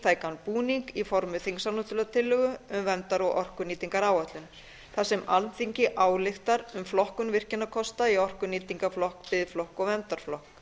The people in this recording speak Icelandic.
þingtækan búning í formi þingsályktunartillögu um verndar og orkunýtingaráætlun þar sem alþingi ályktar um flokkun virkjunarkosta í orkunýtingarflokk biðflokk og verndarflokk